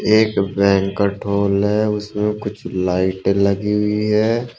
एक है उसमें कुछ लाइट लगी हुई है।